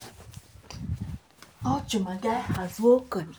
i um dey always make sure sey i um support my friends wen tins um wen tins um dey hard dem.